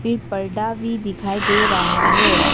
एक पर्दा भी दिखाई दे रहा है।